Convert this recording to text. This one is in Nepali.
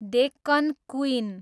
डेक्कन क्वीन